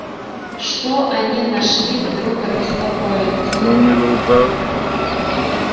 что они нашим вдруг обеспокоились